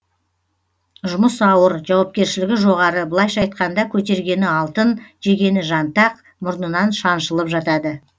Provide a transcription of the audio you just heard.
жұмыс ауыр жауапкершілігі жоғары былайша айтқанда көтергені алтын жегені жантақ мұрнынан шаншылып жатады